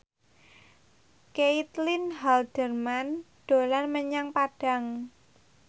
Caitlin Halderman dolan menyang Padang